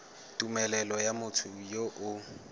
tumelelo ya motho yo o